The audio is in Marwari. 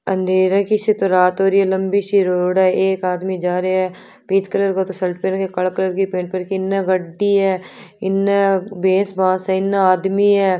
अंधेरे कि सी तरह रात हो रही है लम्बी सी रोड है एक आदमी जा रहा है पिच कलर को तो शर्ट पहनके काले कलर की पेंट पहन के इना गाडी है इने है इने आदमी है।